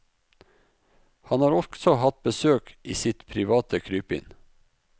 Han har også hatt besøk i sitt private krypinn.